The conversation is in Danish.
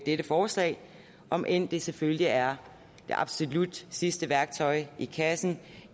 dette forslag om end det selvfølgelig er det absolut sidste værktøj i kassen